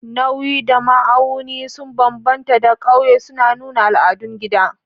Nauyi da ma'auni sun bambanta da ƙauye, suna nuna al'adun gida.